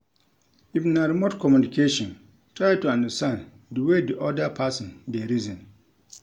If na remote communication try to understand di wey di oda person dey reason